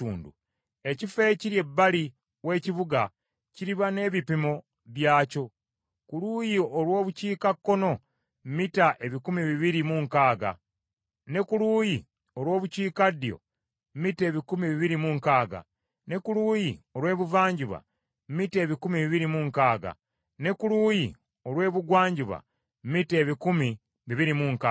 Ekifo ekiri ebbali w’ekibuga kiriba n’ebipimo byakyo; ku luuyi olw’Obukiikakkono mita ebikumi bibiri mu nkaaga, ne ku luuyi olw’Obukiikaddyo mita ebikumi bibiri mu nkaaga, ne ku luuyi olw’ebuvanjuba mita ebikumi bibiri mu nkaaga, ne ku luuyi olw’ebugwanjuba mita ebikumi bibiri mu nkaaga.